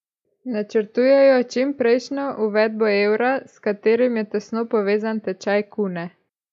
Načrtujejo čimprejšnjo uvedbo evra, s katerim je tesno povezan tečaj kune.